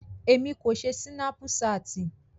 Emi ko ṣe Sinapuṣati.